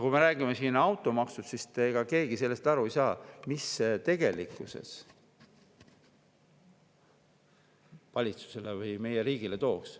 Kui me räägime siin automaksust, siis ega keegi sellest aru ei saa, mis see tegelikkuses valitsusele või meie riigile toob.